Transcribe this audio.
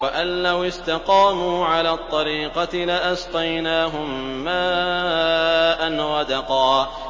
وَأَن لَّوِ اسْتَقَامُوا عَلَى الطَّرِيقَةِ لَأَسْقَيْنَاهُم مَّاءً غَدَقًا